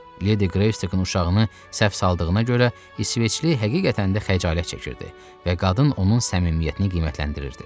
Ledi Qreystokun uşağını səhv saldığına görə İsveçli həqiqətən də xəcalət çəkirdi və qadın onun səmimiyyətini qiymətləndirirdi.